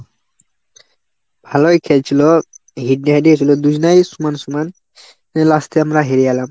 ভালোই খেলছিল, হচ্ছিল দুজনেই সমান সমান। last এ আমরা হেরে গেলাম।